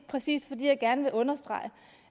præcis fordi jeg gerne ville understrege